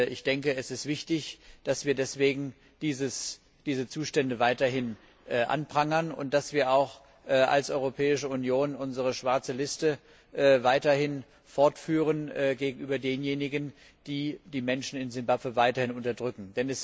Ich denke, es ist wichtig, dass wir deswegen diese Zustände weiterhin anprangern und dass wir auch als Europäische Union unsere schwarze Liste weiterhin fortführen gegenüber denjenigen, die die Menschen in Simbabwe weiterhin unterdrücken.